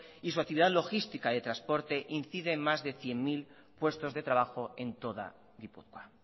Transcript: y su actividad logística de transporte incide en más de cien mil puestos de trabajo en toda gipuzkoa